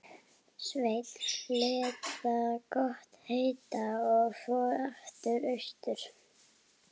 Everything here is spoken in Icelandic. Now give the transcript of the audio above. Og hvað flögrar þá að mér?